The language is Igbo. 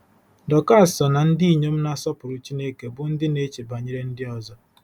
Dọkas so ná ndị inyom na-asọpụrụ Chineke bụ́ ndị na-eche banyere ndị ọzọ.